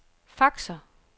faxer